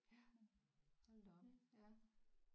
Ja hold da op ja